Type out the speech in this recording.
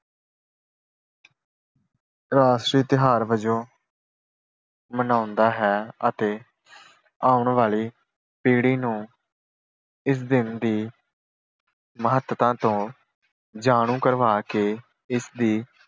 ਰਾਸ਼ਟਰੀ ਤਿਉਹਾਰ ਵਜੋਂ ਮਨਾਉਂਦਾ ਹੈ ਅਤੇ ਆਉਣ ਵਾਲੀ ਪੀੜ੍ਹੀ ਨੂੰ ਇਸ ਦਿਨ ਦੀ ਮਹੱਤਤਾ ਤੋਂ ਜਾਣੂ ਕਰਵਾ ਕੇ ਇਸ ਦੀ